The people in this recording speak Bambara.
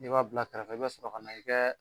I b'a bila kɛrɛfɛ i bɛ sɔrɔ ka na i bɛɛ.